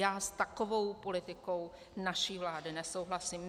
Já s takovou politikou naší vlády nesouhlasím.